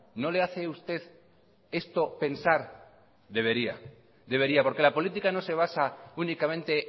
no le hace a usted esto pensar debería porque la política no se basa únicamente